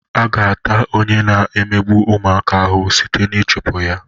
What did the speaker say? A ga-ata onye na-emegbu ụmụaka ahụhụ sịte na ịchụpụ ya.